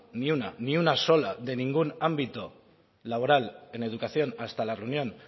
ni una ni una sola de ningún ámbito laboral en educación hasta la reunión